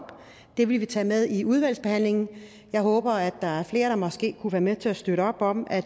det vil vi tage med i udvalgsbehandlingen jeg håber at der er flere der måske kunne være med til at støtte op om at